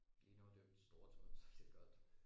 Lige nå og dyppe storetåen og så bliver det koldt